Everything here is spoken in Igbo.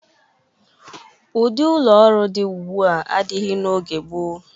Ụdị ụlọ ọrụ dị ugbua adịghị n'oge gboo.